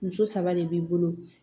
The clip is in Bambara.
Muso saba de b'i bolo